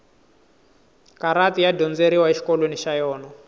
karati ya dyondzeriwa exikolweni xa yona